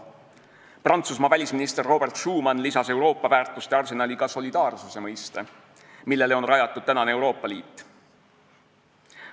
Prantsusmaa välisminister Robert Schuman lisas Euroopa väärtuste arsenali ka solidaarsuse mõiste, millele on rajatud tänane Euroopa Liit.